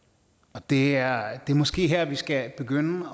det er måske her vi skal begynde